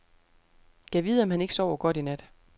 Gad vide om han ikke sover godt i nat.